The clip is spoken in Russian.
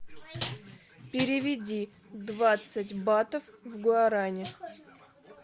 переведи двадцать батов в гуарани